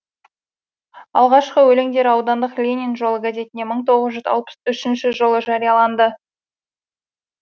алғашқы өлеңдері аудандық ленин жолы газетінде мың тоғыз жүз алпыс үшінші жылы жарияланды